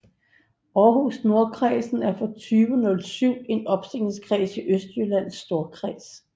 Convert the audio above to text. Aarhus Nordkredsen er fra 2007 en opstillingskreds i Østjyllands Storkreds